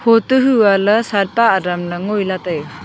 hotoh huya ley satpa adang dang ngoi ley taiga.